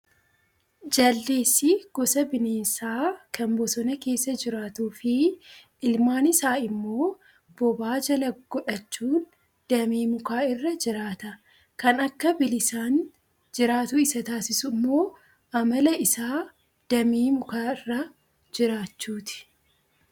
Jaldeessi gosa bineensaa kan bosona keessa jiraatuu fi ilmaan isaa immoo bobaa jala godhachuun damee mukaa irra jiraata. Kan akka bilisaan jiraatu isa taasisu immoo amala isaa damee mukaarra jiraachuuti.